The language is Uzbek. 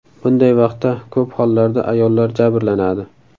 Bunday vaqtda ko‘p hollarda ayollar jabrlanadi.